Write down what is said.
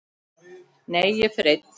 Nei, ég fer einn!